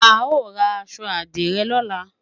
A ó ra aṣọ àdìrẹ lọ́la